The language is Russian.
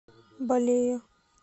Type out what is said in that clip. балея